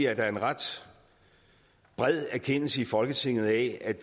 at der er en ret bred erkendelse i folketinget af